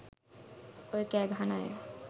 ඔය කෑ ගහන අය